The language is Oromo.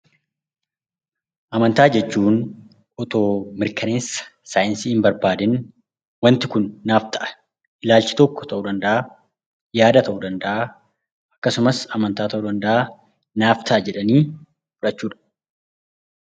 Amantaa jechuun itoo mirkaneessa saayinsii hin barbaadiin waanti kun naaf ta'a, ilaalachi tokko ta'uu danda'a, yaada ta'uu danda'a, akkasumas amantaa ta'uu danda'a naaf ta'a jedhanii fudhachuudha.